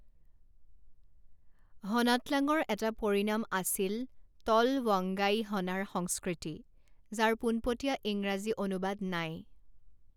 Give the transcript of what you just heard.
হনাটলাঙৰ এটা পৰিণাম আছিল তলৱংগাইহনাৰ সংস্কৃতি, যাৰ পোনপটীয়া ইংৰাজী অনুবাদ নাই।